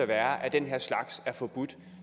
være at den her slags er forbudt